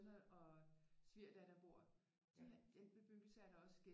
Og svigerdatter bor de har i den bebyggelse er der også